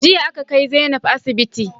Jiya aka ƙai Zainab asiɓiti